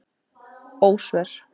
Ósvör